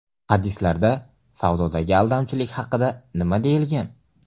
Hadislarda savdodagi aldamchilik haqida nima deyilgan?.